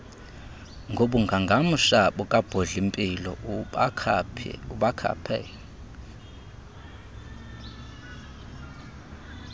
ngobungangamsha bukabhodlimpilo ubakhaphe